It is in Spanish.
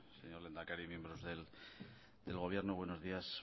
señor lehendakari miembros del gobierno buenos días